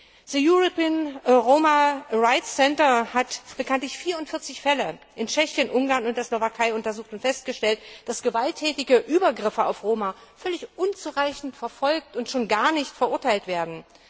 Das European Roma Rights Centre hat bekanntlich 44 Fälle in Tschechien, Ungarn und der Slowakei untersucht und festgestellt, dass gewalttätige Übergriffe auf Roma völlig unzureichend verfolgt und schon gar nicht verurteilt werden.